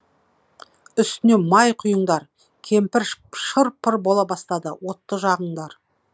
үстіне май құйыңдар кемпір шыр пыр бола бастады отты жағыңдар